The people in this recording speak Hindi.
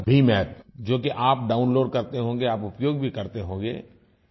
अगर भीम App जो कि आप डाउनलोड करते होंगे आप उपयोग भी करते होंगे